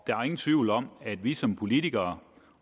der er ingen tvivl om at vi som politikere